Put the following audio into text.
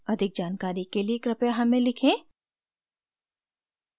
अधिक जानकारी के लिए कृपया हमें लिखें